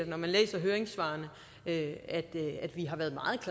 når jeg læser høringssvarene har været meget